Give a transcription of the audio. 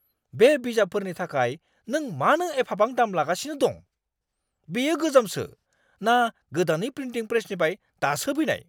बे बिजाबफोरनि थाखाय नों मानो एफाबां दाम लागासिनो दं? बेयो गोजामसो ना गोदानै प्रिन्टिं प्रेसनिफ्राय दासो फैनाय?